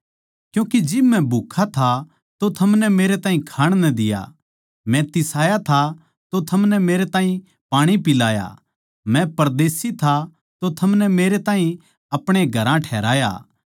क्यूँके जिब मै भूक्खा था अर थमनै मेरै ताहीं खाण नै दिया मै तिसाया था अर थमनै मेरै ताहीं पाणी पिलाया मै परदेशी था अर थमनै मेरै ताहीं अपणे घरां ठहराया